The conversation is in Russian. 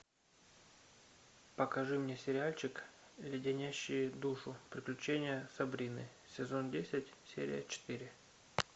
покажи мне сериальчик леденящие душу приключения сабрины сезон десять серия четыре